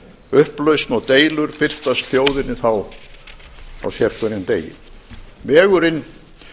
upplausn og deilur birtist þjóðinni þá á sérhverjum degi vegurinn